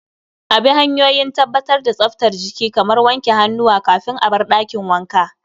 A bi hanyoyin tabbatar da tsaftar jiki kamar wanke hannuwa kafin a bar dakin wanka